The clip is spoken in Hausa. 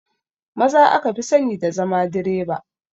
Maza aka fi sani da zama direba